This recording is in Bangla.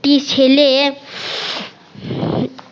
টি ছেলে